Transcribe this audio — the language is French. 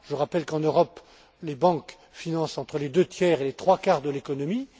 pas. Je rappelle qu'en Europe, les banques financent entre les deux tiers et les trois quarts de l'économie.